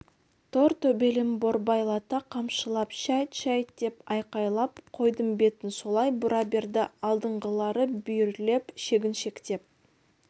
тор төбелін борбайлата қамшылап шәйт шәйт деп айқайлап қойдың бетін солай бұра берді алдыңғылары бүйірлеп шегіншектеп